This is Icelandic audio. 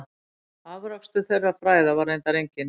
Afrakstur þeirra fræða var reyndar enginn.